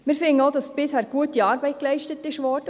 Wir finden auch, dass bisher gute Arbeit geleistet wurde.